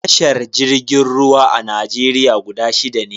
Tashar jirgin ruwa a Najeriya guda shida ne.